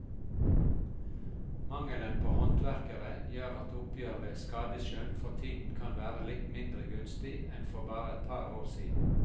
Mangelen på håndverkere gjør at oppgjør ved skadeskjønn for tiden kan være litt mindre gunstig enn for bare et par år siden.